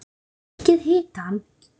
Lækkið hitann.